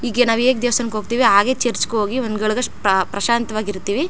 ಹೀಗೆ ನಾವು ಹೇಗೆ ದೇವಸ್ಥಾನಕ್ಕೆ ಹೋಗತ್ತೀವಿ ಹಾಗೆ ಚರ್ಚ್ ಗೆ ಹೋಗಿ ಒಂದ್ ಗಳಗ್ ಪ ಪ್ರಶಾಂತವಾಗಿ ಇರ್ತ್ತೀವಿ.